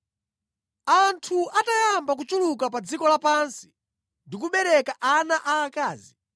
Anthu atayamba kuchuluka pa dziko lapansi ndi kubereka ana aakazi,